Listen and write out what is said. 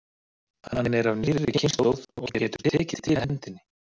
Hann er af nýrri kynslóð og getur tekið til hendinni.